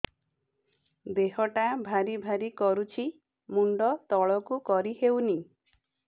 ଦେହଟା ଭାରି ଭାରି କରୁଛି ମୁଣ୍ଡ ତଳକୁ କରି ହେଉନି